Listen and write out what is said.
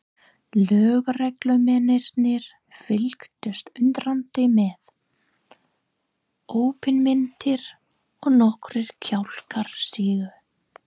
Lögreglumennirnir fylgdust undrandi með, opinmynntir og nokkrir kjálkar sigu.